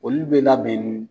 Olu bɛ labɛn nin